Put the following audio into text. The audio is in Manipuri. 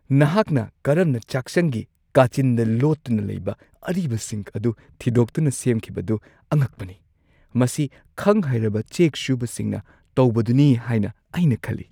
ꯅꯍꯥꯛꯅ ꯀꯔꯝꯅ ꯆꯥꯛꯁꯪꯒꯤ ꯀꯥꯆꯤꯟꯗ ꯂꯣꯠꯇꯨꯅ ꯂꯩꯕ ꯑꯔꯤꯕ ꯁꯤꯡꯛ ꯑꯗꯨ ꯊꯤꯗꯣꯛꯇꯨꯅ ꯁꯦꯝꯈꯤꯕꯗꯨ ꯑꯉꯛꯄꯅꯤ. ꯃꯁꯤ ꯈꯪ-ꯍꯩꯔꯕ ꯆꯦꯛ ꯁꯨꯕꯁꯤꯡꯅ ꯇꯧꯕꯗꯨꯅꯤ ꯍꯥꯏꯅ ꯑꯩꯅ ꯈꯜꯂꯤ ꯫